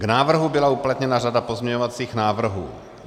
K návrhu byla uplatněna řada pozměňovacích návrhů.